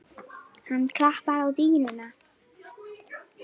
Hann klappar á dýnuna.